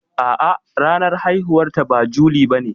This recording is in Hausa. A'a ranar haihuwar ta ba juli bane.